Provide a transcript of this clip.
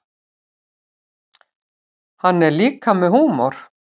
Hann er líka með húmor.